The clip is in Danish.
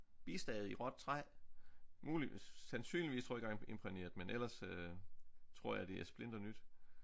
Bistade i råt træ muligvis sandsynligvis tror jeg ikke engang imprægneret men ellers øh tror jeg det er splinternyt